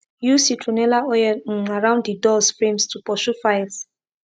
use citronella oil um around de doors frames to pursue files